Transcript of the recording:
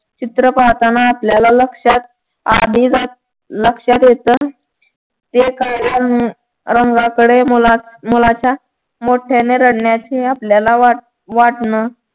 चित्र पाहताना आपल्याला आधीच लक्षात येत ते कळल्या रंगाकडे मुलाच्या मोठयाने रडण्याचे आपल्याला वाटण